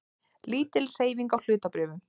Lítil hreyfing á hlutabréfum